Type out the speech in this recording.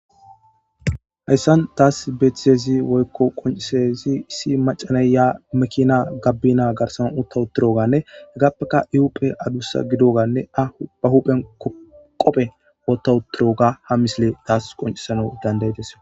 Hayssan taas beethitezi woykko qoncisezi issi macanay ya mekina gabbina garsana utta utturoganne heggappeka iupphe adussa gidoganne a ba huphen qophe wotawuturoga ha misile taas qoncisana dandayetes.